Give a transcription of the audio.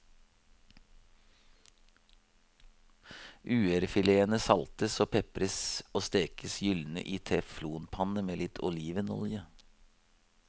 Uerfiletene saltes og pepres og stekes gyldne i teflonpanne med litt olivenolje.